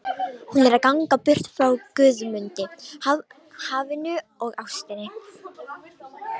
Hún er að ganga burt frá Guðmundi, hafinu og ástinni.